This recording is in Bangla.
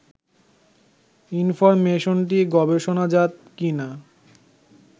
ইনফরমেশনটি গবেষণাজাত কি না